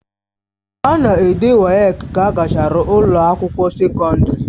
A na-ede WAEC ka a gachara ụlọ akwụkwọ sekọndrị.